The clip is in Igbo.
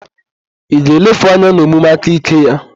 Ị ga-elefu anya n'omume aka ike ya?